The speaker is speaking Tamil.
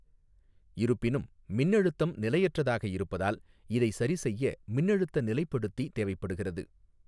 இருப்பினும், மின்னழுத்தம் நிலையற்றதாக இருப்பதால், இதை சரிசெய்ய மின்னழுத்த நிலைப்படுத்தி தேவைப்படுகிறது.